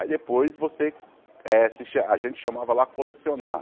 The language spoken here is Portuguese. Aí, depois você eh, se cha a gente chamava lá colecionar.